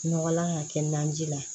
Nɔgɔlan ka kɛ naji la